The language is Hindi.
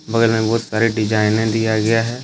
बगल में बहुत सारे डिजाइने दिया गया हैं।